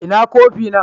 Ina kofi na?